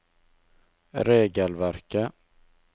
regelverket